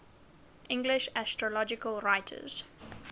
english astrological writers